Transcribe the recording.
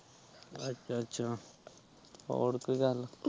ਅੱਛਾ ਅੱਛਾ ਹੋਰ ਕੋਈ ਗੱਲ